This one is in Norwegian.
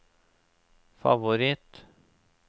favoritt